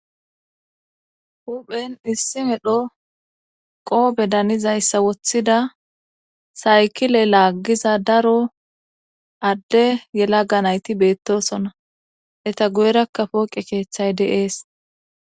huphen issi medho qoobe danizayssa woththida saykile laaggiza daro adde yela ga nayti beettosona eta guyerakka pooqe keeththay de'ees